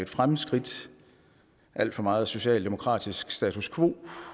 fremskridt alt for meget socialdemokratisk status quo